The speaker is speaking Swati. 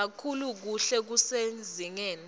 kakhulu kuhle kusezingeni